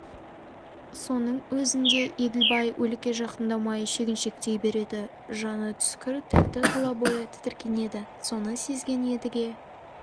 соның өзінде еділбай өлікке жақындамай шегіншектей береді жаны түскір тәтті тұла бойы тітіркенеді соны сезген едіге